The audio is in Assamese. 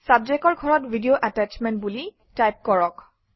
Subject অৰ ঘৰত ভিডিও এটেচমেণ্ট বুলি টাইপ কৰক